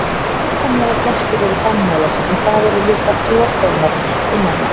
Langsamlega flestir eru dannaðir en það eru líka slordónar innan um.